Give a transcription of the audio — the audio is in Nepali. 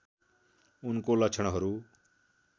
उनको लक्षणहरू